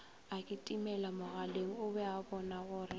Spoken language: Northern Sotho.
akitimelamogaleng o be a bonagore